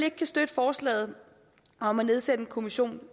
ikke kan støtte forslaget om at nedsætte en kommission